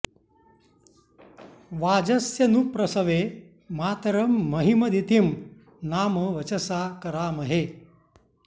वाजस्य नु प्रसवे मातरं महीमदितिं नाम वचसा करामहे